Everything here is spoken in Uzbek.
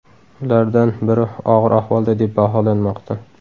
Ulardan biri og‘ir ahvolda deb baholanmoqda.